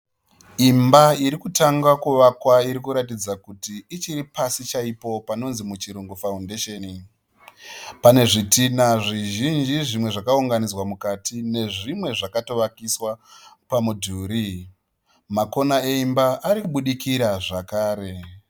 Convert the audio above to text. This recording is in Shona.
Imba irikutanga kuvakwa , iri kuratidza kuti ichiri pasi , chaipo panonzi nemuchirungu foundation .Pane zvitina zvinji zvimwe zvakaunga nidzwa mukati ne zvimwe zvakato vakiswa pamudhuri .Makona eimba ari kubudikira zvekare